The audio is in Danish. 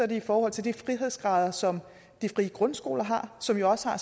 det i forhold til de frihedsgrader som de frie grundskoler har som jo også har